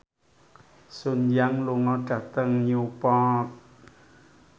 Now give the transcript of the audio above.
Sun Yang lunga dhateng Newport